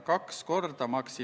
Otsus on vastu võetud.